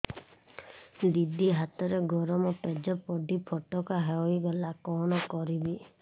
ଦିଦି ହାତରେ ଗରମ ପେଜ ପଡି ଫୋଟକା ହୋଇଗଲା କଣ କରିବି